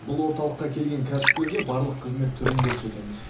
бұл орталыққа келген кәсіпкерге барлық қызмет түрін көрсетеміз